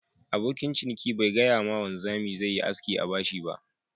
Abokin ciniki ba gaya ma wanzami zai Yi aski a bashi ba.